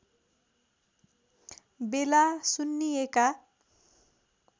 बेला सुन्निएका